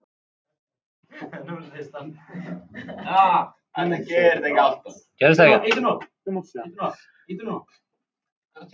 Þetta gekk ekki alltaf slysalaust.